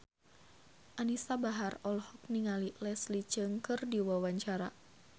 Anisa Bahar olohok ningali Leslie Cheung keur diwawancara